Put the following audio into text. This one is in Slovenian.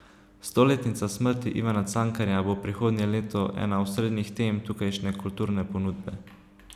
Stoletnica smrti Ivana Cankarja bo prihodnje leto ena osrednjih tem tukajšnje kulturne ponudbe.